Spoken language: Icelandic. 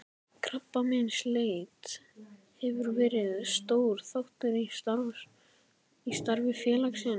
Krabbameinsleit hefur verið stór þáttur í starfi félagsins.